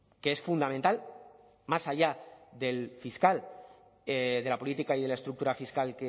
que es fundamental más allá del fiscal de la política y de la estructura fiscal